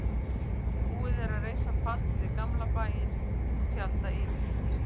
Búið er að reisa pall við gamla bæinn og tjalda yfir.